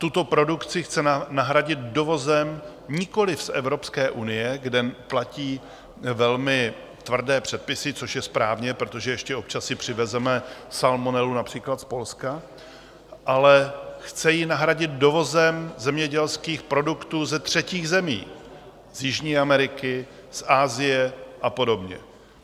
Tuto produkci chce nahradit dovozem nikoliv z Evropské unie, kde platí velmi tvrdé předpisy, což je správně, protože ještě občas si přivezeme salmonelu například z Polska, ale chce ji nahradit dovozem zemědělských produktů ze třetích zemí, z jižní Ameriky, z Asie a podobně.